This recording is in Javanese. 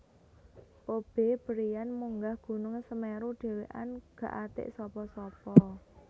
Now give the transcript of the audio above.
Kobe Bryant munggah gunung Semeru dhewekan gak atek sapa sapa